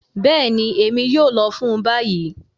Bẹẹni, Emi yoo lọ fun bayi.